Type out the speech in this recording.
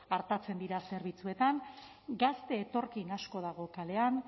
artatzen dira zerbitzuetan gazte etorkin asko dago kalean